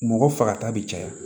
Mɔgɔ fagata bɛ caya